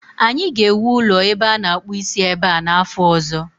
anyị ga-ewu ụlọ ebe a na akpụ isi ebe a n'afọ ọzọ